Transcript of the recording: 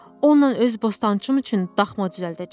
Onunla öz bostançım üçün daxma düzəldəcəm.